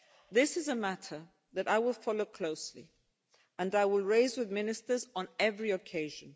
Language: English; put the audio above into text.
This is a matter that I will follow closely and I will raise with ministers on every occasion.